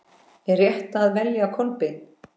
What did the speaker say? Er rétt að velja Kolbein?